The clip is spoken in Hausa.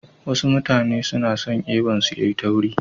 Wasu mutane suna son eban su yayi tauri.